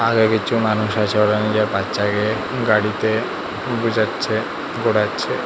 আরও কিছু মানুষ আছে ওখানে বাচ্চাকে গাড়িতে বুঝাচ্ছে ঘোরাচ্ছে।